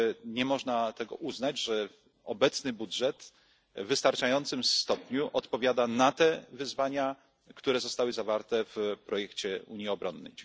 Nie można więc uznać, że obecny budżet w wystarczającym stopniu odpowiada na te wyzwania, które zostały zawarte w projekcie unii obronnej.